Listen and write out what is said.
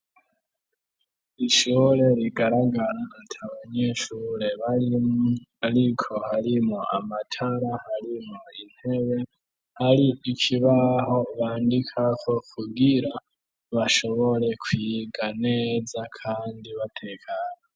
Ishure rigaragara ata banyeshure barimwo ariko harimwo amatara harimwo intebe ,hari ikibaho bandikako kugira bashobore kwiga neza kandi batekanye.